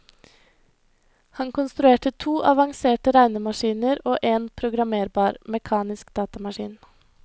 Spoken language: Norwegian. Han konstruerte to avanserte regnemaskiner og en programmerbar, mekanisk datamaskin.